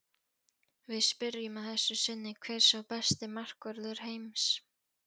Við spyrjum að þessu sinni hver sé besti markvörður heims?